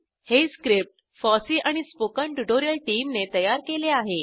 हे script FOSSEE आणि spoken tutorial टीमने तयार केले आहे